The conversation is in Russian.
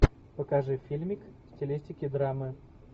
покажи фильмик в стилистике драмы